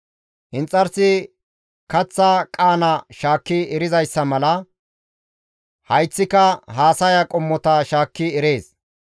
Inxarsi kaththa qaana shaakki erizayssa mala, hayththika haasaya qommota shaakki erees.